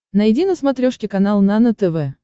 найди на смотрешке канал нано тв